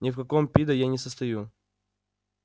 ни в каком пидо я не состою